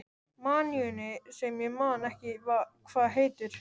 maníunni sem ég man ekki hvað heitir.